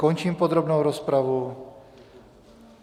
Končím podrobnou rozpravu.